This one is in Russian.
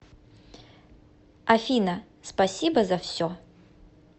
афина спасибо за все